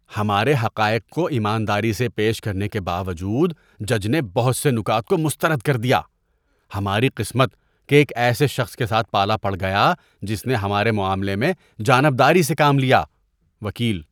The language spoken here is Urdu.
ہمارے حقائق کو ایمانداری سے پیش کرنے کے باوجود جج نے بہت سے نکات کو مسترد کر دیا۔ ہماری قسمت کہ ایک ایسے شخص کے ساتھ پالا پڑ گیا جس نے ہمارے معاملے میں جانب داری سے کام لیا۔ (وکیل)